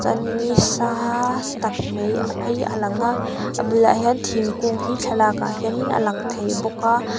chuan in nisaa tak mai hei a lang a a bulah hian thingkung hi thlalakah hianin a lang thei bawk a.